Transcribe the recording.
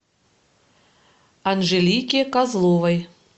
анжелике козловой